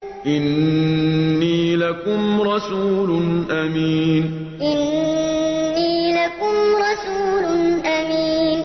إِنِّي لَكُمْ رَسُولٌ أَمِينٌ إِنِّي لَكُمْ رَسُولٌ أَمِينٌ